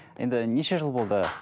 енді неше жыл болды